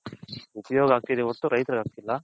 ಉಪಯೋಗ ಆಗ್ತಿದೆ ವರ್ತು ರೈಥರ್ಗೆ ಆಗ್ತಿಲ್ಲ .